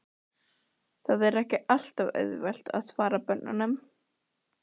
Það er ekki alltaf auðvelt að svara börnunum.